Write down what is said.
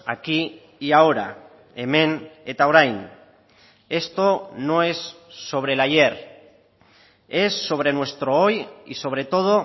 aquí y ahora hemen eta orain esto no es sobre el ayer es sobre nuestro hoy y sobre todo